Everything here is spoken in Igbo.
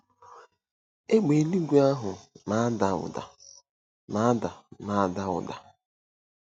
Égbè eluigwe ahụ na-ada ụda na-ada na-ada ụda.